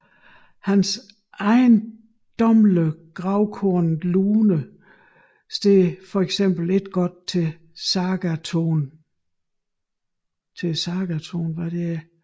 Hans ejendommelige grovkornede Lune står for eksempel ikke godt til sagatonen